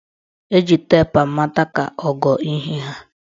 Eji teepu amata ka ogo ihe haa.